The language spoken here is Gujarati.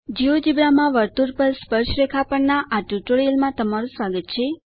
જિયોજેબ્રા માં વર્તુળ પર સ્પર્શરેખા પરના આ ટ્યુટોરીયલમાં તમારું સ્વાગત છે